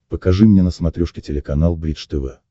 покажи мне на смотрешке телеканал бридж тв